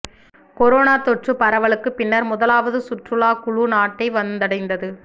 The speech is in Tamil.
கொரோனா தொற்று பரவலுக்குப் பின்னர் முதலாவது சுற்றுலாக் குழு நாட்டை வந்தடைந்தது